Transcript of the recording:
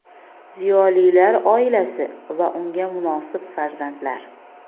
ziyolilar oilasi va unga munosib farzandlar.